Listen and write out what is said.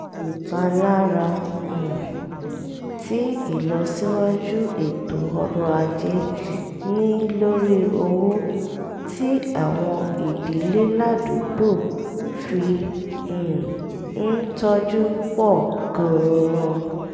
ìpalára um tí ìlọsíwájú ètò ọrọ̀ ajé ní lórí owó tí àwọn ìdílé ládùúgbò fi um ń tọ́jú pọ̀ gan-an